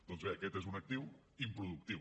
doncs bé aquest és un actiu improductiu